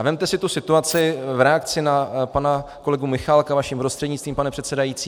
A vezměte si tu situaci v reakci na pana kolegu Michálka vaším prostřednictvím, pane předsedající.